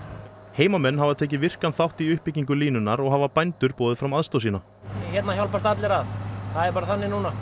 heimamenn hafa tekið virkan þátt í uppbyggingu línunnar og hafa bændur boðið fram aðstoð sína hérna hjálpast allir að það er bara þannig núna